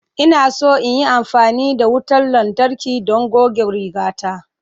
Ina so in yi amfani da wutar lantarki don goge rigata.